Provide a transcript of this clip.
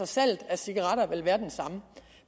salget af cigaretter